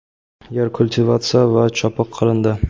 yer kultivatsiya va chopiq qilindi.